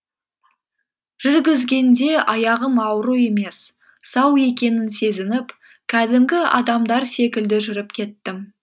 жүргізгенде аяғым ауру емес сау екенін сезініп кәдімгі адамдар секілді жүріп кеттім